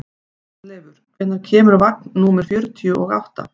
Arnleifur, hvenær kemur vagn númer fjörutíu og átta?